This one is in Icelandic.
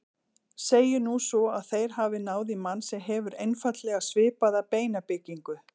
Segjum nú svo að þeir hafi náð í mann sem hefur einfaldlega svipaða beinabyggingu.